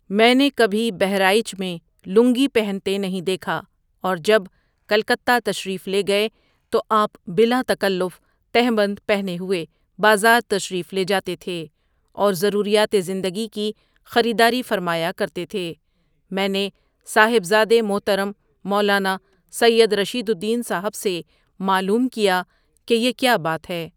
میں نے کبھی بہرائچ میں لنگی پہنتے نہیں دیکھا اور جب کلکتہ تشریف لے گئے تو آپ بلا تکلف تہبند پہنے ہوئے بازار تشریف لیجاتے تھے اور ضروریات زندگی کی خریداری فرمایا کرتے تھے، میں نے صاحبزادے محترم مولانا سید رشید الدین صاحبؒ سے معلوم کیا، کہ یہ کیا بات ہے۔